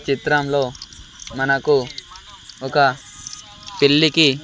చిత్రంలో మనకు ఒక పెళ్లికి.